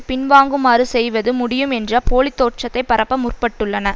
பின்வாங்குமாறு செய்வது முடியும் என்ற போலி தோற்றத்தை பரப்ப முற்பட்டுள்ளன